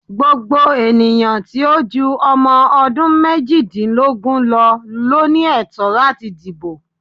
Gbogbo ènìyàn tí ó ju ọmọ ọdún méjìdínlógún lọ ló ní ẹ̀tọ́ láti di ìbò.